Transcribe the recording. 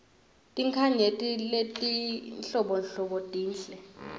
tinkhanyeti letinhlobonhlobo tinhle